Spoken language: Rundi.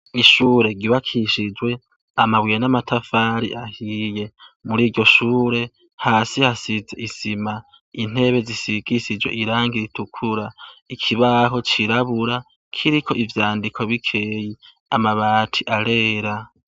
Ishure ryubakishijwe amabuye n'amatafari ahiye. Muri iryo shure, hasi hasize isima, intebe zisigishijwe irangi ritukura. Ikibaho cirabura, kiriko ivyandiko bikeyi. Amabati arera.